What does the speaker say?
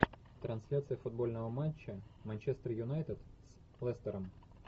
трансляция футбольного матча манчестер юнайтед с лестером